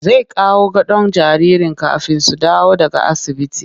Zai kawo gadon jaririn kafin su dawo daga asibiti